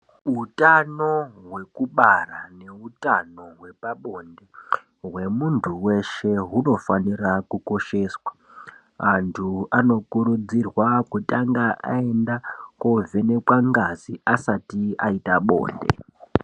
Utano hwekubara neutano hwepabonde hwemuntu weshe hunofanira kukosheswa antu anokurudzirwa kutanga aenda kovhenekwe ngazi asati aite bonde.